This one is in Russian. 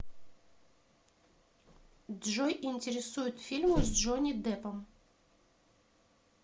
джой интересуют фильмы с джонни деппом